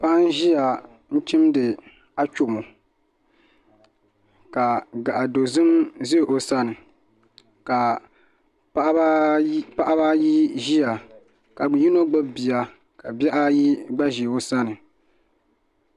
Paɣa n ʒiya chimdi achomo ka gaaɣa dozim ʒɛ o sani ka paɣaba ayi ʒiya ka yino gbubi bia ka bihi ayi gba ʒi o sani